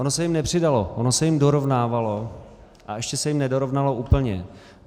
Ono se jim nepřidalo, ono se jim dorovnávalo a ještě se jim nedorovnalo úplně.